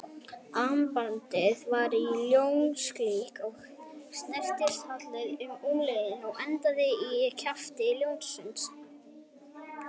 Armbandið var í ljónslíki og snerist halinn um úlnliðinn og endaði í kjafti ljónsins.